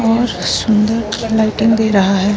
बहुत सुंदर लाइटिंग दे रहा है।